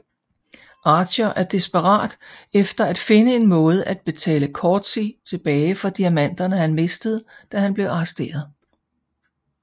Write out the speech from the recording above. Archer er desperat efter at finde en måde at betale Coetzee tilbage for diamanterne han mistede da han blev arresteret